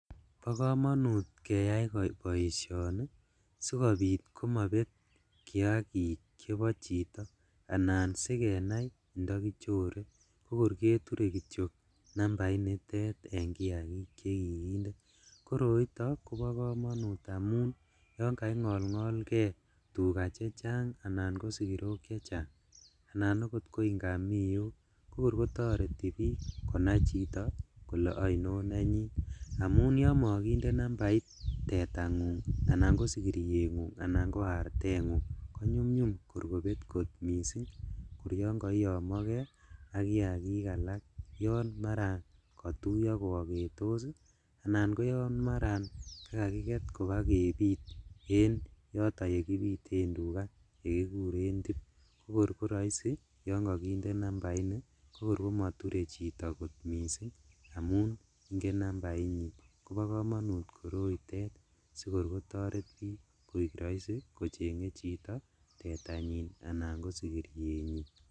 Bokomonut keyai boisioni sikobit komobet kiakik chebo chito, anan sikenai ndokichore kokor keture kityok nambaitet en kiakik chekikinde, koroito kobo komonut amun yon kaingolngolkee tugaa chechang ,anan kosikirok chechang, anan oot ko ingamiok kokor kotoreti bik konai chito kole oinon nenyin amun yon mokinde nambait ii tetangung, anan kosikiriengung, anan ko artengung konyumyum kor kobet kot missing' kor yon koiyomokee ak kiakik alak yon maran kotuiyo kooketos ii anan koyon maran kakakiket kobakebit en yoton yekibiten tugaa yekikuren tip, kokor koroisi yon kokinde nambaini kokor komoture chito kot missing' amun ingen nambainyin kobo komonut koroitet sikor kotoret bik koik roisi kochenge chito tetanyiny anan kosikirienyin.